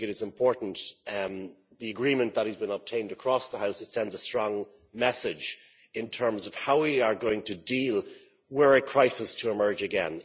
I think it is important that the agreement that has been obtained across the House sends a strong message in terms of how we are going to deal with it, were a crisis to emerge again.